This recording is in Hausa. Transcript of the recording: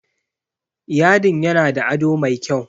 Yadin yana da ado mai kyau.